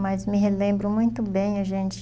Mas me relembro muito bem, a gente